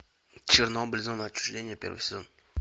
чернобыль зона отчуждения первый сезон